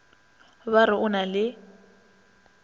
ba re o na le